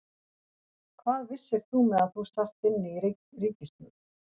Hvað vissir þú meðan þú sast inni í ríkisstjórn?